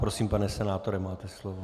Prosím, pane senátore, máte slovo.